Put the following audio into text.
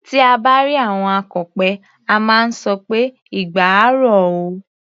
Tí à bá rí àwọn akọ̀pẹ, a máa sọ pé "igba á ro o".